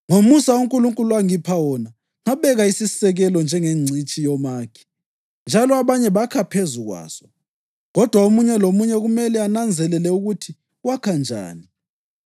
Ngomusa uNkulunkulu angipha wona, ngabeka isisekelo njengengcitshi yomakhi, njalo abanye bakha phezu kwaso. Kodwa omunye lomunye kumele ananzelele ukuthi wakha njani.